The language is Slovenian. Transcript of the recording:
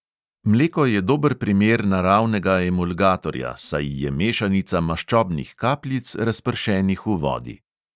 Mleko je dober primer naravnega emulgatorja, saj je mešanica maščobnih kapljic, razpršenih v vodi.